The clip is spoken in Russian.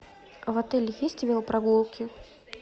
в отеле есть велопрогулки